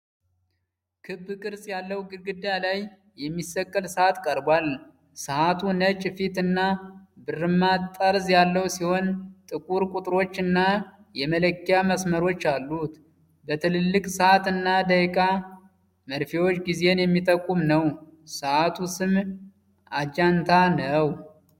ክብ ቅርጽ ያለው ግድግዳ ላይ የሚሰቀል ሰዓት ቀርቧል። ሰዓቱ ነጭ ፊት እና ብርማ ጠርዝ ያለው ሲሆን፣ ጥቁር ቁጥሮች እና የመለኪያ መስመሮች አሉት። በትልልቅ የሰዓት እና የደቂቃ መርፌዎች ጊዜን የሚጠቁም ነው። የሰዓቱ ስም አጃንታ ነው።